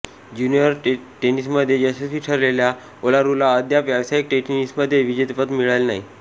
junior टेनिसमध्ये यशस्वी ठरलेल्या ओलारूला अद्याप व्यावसायिक टेनिसमध्ये विजेतेपद मिळाले नाही